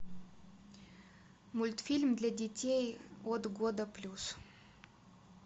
мультфильм для детей от года плюс